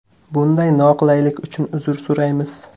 Bunday noqulaylik uchun uzr so‘raymiz.